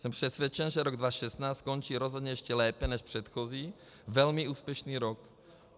Jsem přesvědčen, že rok 2016 skončí rozhodně ještě lépe než předchozí velmi úspěšný rok.